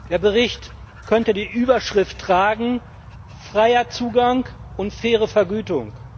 Der Bericht könnte die Überschrift tragen Freier Zugang und faire Vergütung.